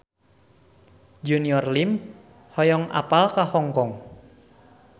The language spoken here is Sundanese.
Junior Liem hoyong apal Hong Kong